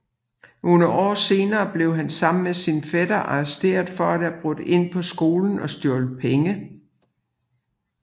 Nogle år senere blev han sammen med sin fætter arresteret for at have brudt ind på skolen og stjålet penge